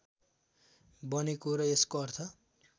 बनेको र यसको अर्थ